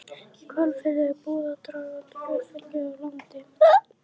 Í Hvalfirði var búið að draga tvö ferlíki á land.